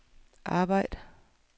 arbejd